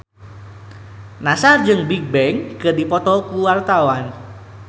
Nassar jeung Bigbang keur dipoto ku wartawan